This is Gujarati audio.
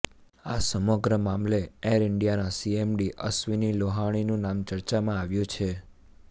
આ સમગ્ર મામલે એર ઈન્ડિયાના સીએમડી અશ્વિની લોહાણીનું નામ ચર્ચામાં આવ્યું છે